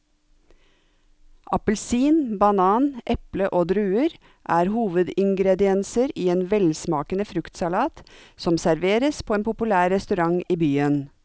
Appelsin, banan, eple og druer er hovedingredienser i en velsmakende fruktsalat som serveres på en populær restaurant i byen.